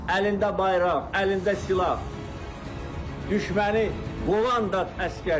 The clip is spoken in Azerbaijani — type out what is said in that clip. əlində bayraq, əlində silah düşməni qovan da əsgərdir.